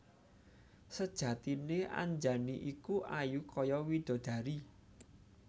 Sejatiné Anjani iku ayu kaya widodari